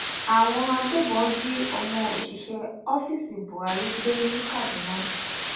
àwọn agbébọn jí ọmọ òṣìṣẹ ọfíìsì buhari gbé ní kaduna